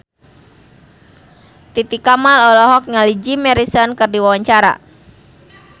Titi Kamal olohok ningali Jim Morrison keur diwawancara